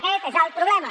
aquest és el problema